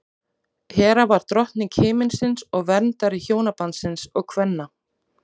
hera var drottning himinsins og verndari hjónabandsins og kvenna